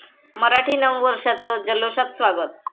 मराठी नवं वर्षाचं जल्लोषात स्वागत